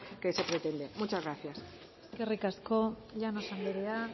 que se pretende muchas gracias eskerrik asko llanos anderea